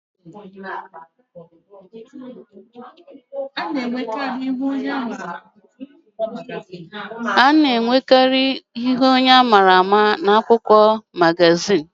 A na-enwekarì ihu onye a maara amara nke a na-etinye n'ihu akwụkwọ magazin nke akụkọ ya dị n'ime